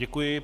Děkuji.